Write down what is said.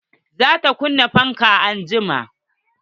Za ta kunna fankan anjima.